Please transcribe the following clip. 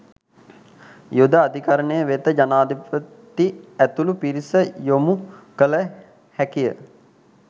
යුද අධිකරණය වෙත ජනාධිපති ඇතුළු පිරිස යොමු කළ හැකිය